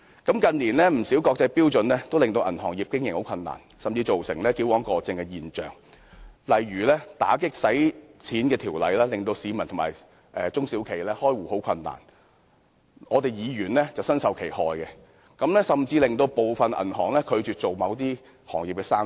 近年，不少國際標準均令銀行業經營困難，甚至造成矯枉過正的現象，例如打擊洗錢的條例，令市民和中小型企業開戶困難，我們議員便身受其害，部分銀行甚至拒絕做某些行業的生意。